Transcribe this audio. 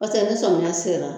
Paseke ni somiya sera.